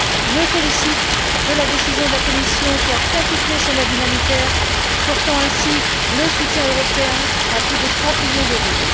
Je me félicite de la décision de la Commission, qui a quintuplé son aide humanitaire, portant ainsi le soutien européen à plus de trente millions d'euros.